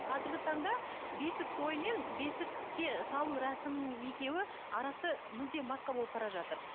қазіргі таңда бесік тойы мен бесікке салу рәсімінің екеуі арасы мүлдем басқа болып бара жатыр